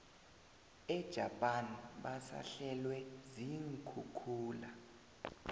ejapan basahlelwe ziinkhukhula